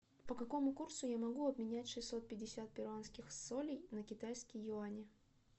по какому курсу я могу обменять шестьсот пятьдесят перуанских солей на китайские юани